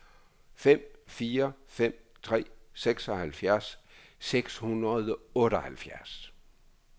fem fire fem tre seksoghalvfjerds seks hundrede og otteoghalvfjerds